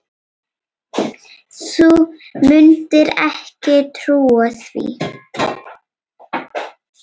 Þú mundir ekki trúa því.